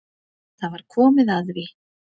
Það var komið að því.